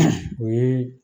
o yee